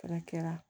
Fɛnɛ kɛra